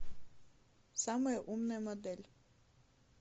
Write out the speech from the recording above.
самая умная модель